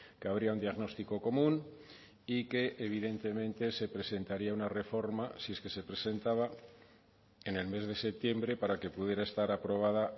que habría un diagnóstico común y que evidentemente se presentaría una reforma si es que se presentaba en el mes de septiembre para que pudiera estar aprobada